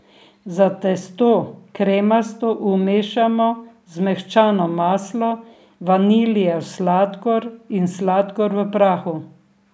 Za testo kremasto umešamo zmehčano maslo, vaniljev sladkor in sladkor v prahu.